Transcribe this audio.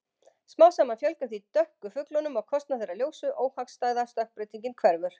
Smám saman fjölgar því dökku fuglunum á kostnað þeirra ljósu- óhagstæða stökkbreytingin hverfur.